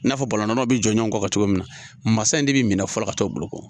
I n'a fɔ Balonyanaw bi jɔjɔ ɲɔgɔn kɔfɛ cogo min mansa in de be minɛ fɔlɔ ka taa o bolo ko